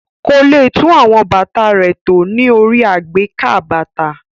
Kò le tún àwọn bàtà rẹ̀ tò ní orí àgbékà bàtà.